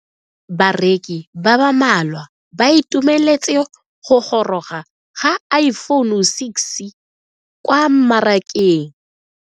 Bareki ba ba malwa ba ituemeletse go goroga ga Iphone6 kwa mmarakeng.